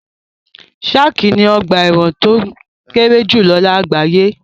Sark ni ọ̀gba ẹ̀wọ̀n tó kéré jùlọ lágbàáyé.